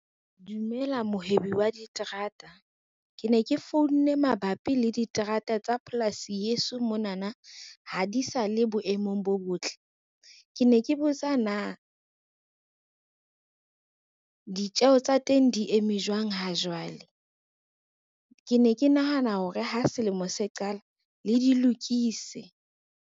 Dumela mohwebi wa diterata. Ke ne ke founne mabapi le diterata tsa polasi yeso monana ha di sa le boemong bo botle. Ke ne ke botsa na, ditjeho tsa teng di eme jwang ha jwale, ke ne ke nahana hore ha selemo se qala le di lokise.